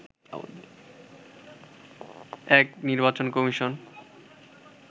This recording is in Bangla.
এক নির্বাচন কমিশন